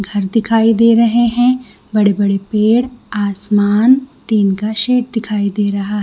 घर दिखाई दे रहे है बड़े-बड़े पेड़ आसमान टिन का शेड दिखाई दे रहा--